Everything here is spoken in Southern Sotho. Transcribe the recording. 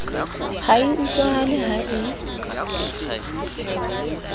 ha e utlwahale ha e